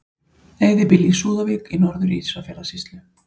Eyðibýli í Súðavík í Norður-Ísafjarðarsýslu.